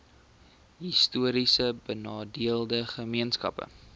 histories benadeelde gemeenskappe